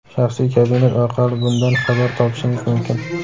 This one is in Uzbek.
"Shaxsiy kabinet" orqali bundan xabar topishingiz mumkin.